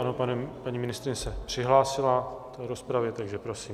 Ano, paní ministryně se přihlásila k rozpravě, takže prosím.